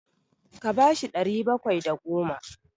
Ka ba shi ɗari bakwai da goma!